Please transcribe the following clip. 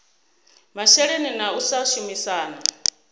masheleni na u sa shumisana